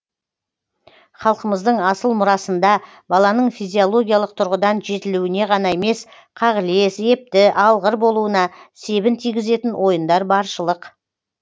халқымыздың асыл мұрасында баланың физиологиялық тұрғыдан жетілуіне ғана емес қағылез епті алғыр болуына себін тигізетін ойындар баршылық